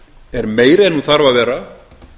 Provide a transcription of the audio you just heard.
er meiri en hún þarf að vera